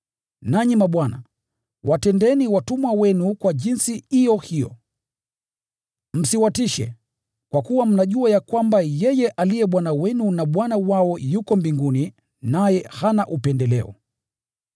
Nanyi mabwana, watendeeni watumwa wenu kwa jinsi iyo hiyo. Msiwatishe, kwa kuwa mnajua ya kwamba yeye aliye Bwana wenu na Bwana wao yuko mbinguni, naye hana upendeleo.